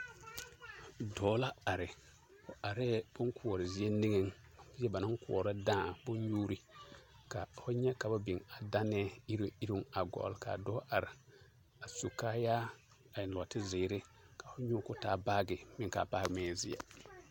Dɔɔ la are, o arɛɛ boŋkoɔre zie niŋeŋ, zie banaŋ koɔrɔ dãã, bonnyuuri, ka ho nyɛ ka ba biŋ a daanɛɛ iruŋ iruŋ a gɔlle, k'a dɔɔ are a su kaayaa a eŋ nɔɔte zeere ka ho nyoo k'o taa baagi meŋ k'a baagi meŋ e zeɛ.